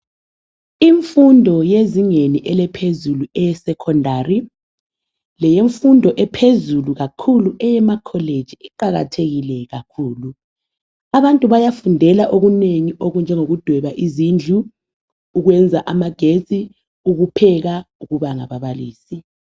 Imfundo yezingeni eliphezulu eye secondary leyemfundo ephezulu kakhulu eyema college iqakathekile kakhulu. Abantu bayafundela okunengi okunjengokudweba izindlu, ukwenza amagetsi, ukupheka ,ukuba ngababalisi